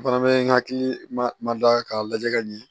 O fana bɛ n hakili ma da k'a lajɛ ka ɲɛ